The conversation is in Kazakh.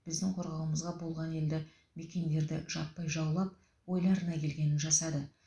біздің қорғауымызға болған елді мекендерді жаппай жаулап ойларына келгенін жасады